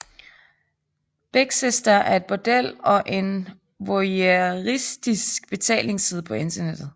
Big Sister er et bordel og en voyeuristisk betalingsside på internettet